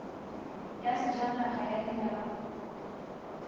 ya sejanaga ya leina la